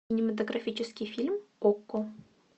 кинематографический фильм окко